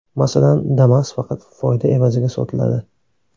Masalan, Damas faqat foyda evaziga sotiladi.